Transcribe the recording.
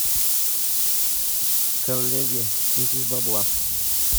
коллеги скиньтесь бабла